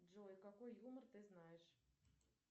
джой какой юмор ты знаешь